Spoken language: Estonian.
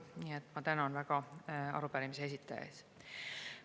Nii et ma väga tänan arupärimise esitajaid.